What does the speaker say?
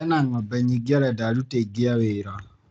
Ena ng'ombe nyingĩ arenda aruti aningĩ a wĩra.